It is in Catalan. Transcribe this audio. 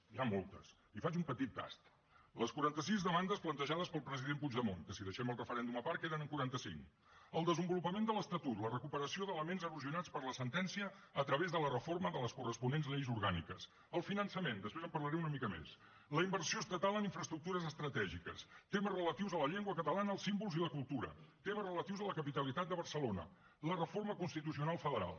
n’hi ha moltes li’n faig un petit tast les quaranta sis demandes plantejades pel president puigdemont que si deixem el referèndum a part queden en quaranta cinc el desenvolupament de l’estatut la recuperació d’elements erosionats per la sentència a través de la reforma de les corresponents lleis orgàniques el finançament després en parlaré una mica més la inversió estatal en infraestructures estratègiques temes relatius a la llengua catalana els símbols i la cultura temes relatius a la capitalitat de barcelona la reforma constitucional federal